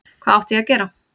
Hvað átti ég að gera?